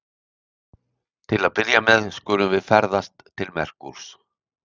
Til að byrja með skulum við ferðast til Merkúrs.